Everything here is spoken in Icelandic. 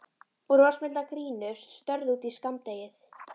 Brosmildar gínur störðu út í skammdegið.